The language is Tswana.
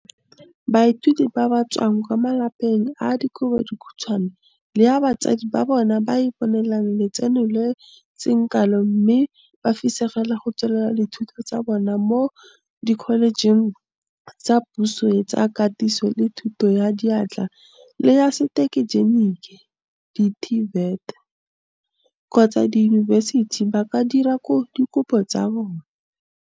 Baithuti ba ba tswang kwa malapeng a a dikobo dikhutshwane le a batsadi ba bona ba iponelang letseno le le seng kalo mme ba fisegela go tsweletsa dithuto tsa bona mo dikholejeng tsa puso tsa Katiso le Thuto ya Diatla le ya Setegenik di-TVET kgotsa diyunibesiti ba ka dira dikopo tsa bona.